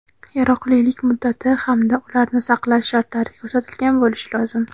yaroqlilik muddati hamda ularni saqlash shartlari ko‘rsatilgan bo‘lishi lozim:.